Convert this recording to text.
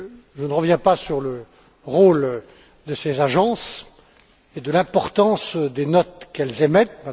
Je ne reviens pas sur le rôle de ces agences ni sur l'importance des notes qu'elles émettent